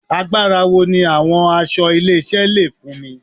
Agbára wo ni àwọn aṣọ ilé-iṣẹ́ le fúnni